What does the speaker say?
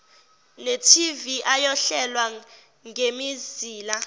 ntv ayohlelwa ngemizila